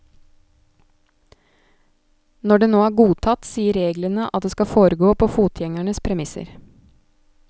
Når det nå er godtatt, sier reglene at det skal foregå på fotgjengernes premisser.